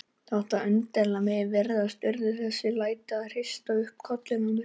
Þótt undarlegt megi virðast urðu þessi læti til að hrista upp í kollinum á mér.